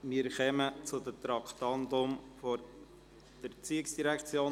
Wir kommen zu den Traktanden der ERZ.